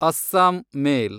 Assam ಮೇಲ್